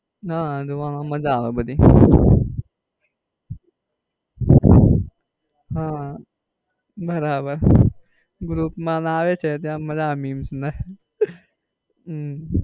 ના જોવા માં માજા આવે બધી આહ બરાબર group માં લાવે છે ત્યાં meams ને